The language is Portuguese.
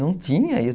Não tinha isso.